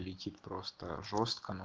летит просто жёстко но